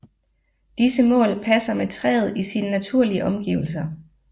Disse mål passer med træet i sine naturlige omgivelser